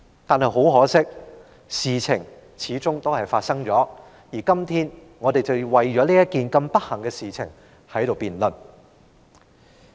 但很可惜，事情始終發生了，而我們今天就這件不幸的事情進行辯論。